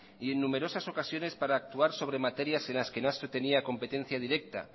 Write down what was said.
y en numerosas ocasiones para actuar sobre materias en las que no se tenía competencia directa